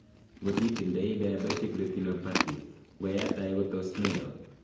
ngot itindai diabetic retinopathy , ngo ya tay ko tos mero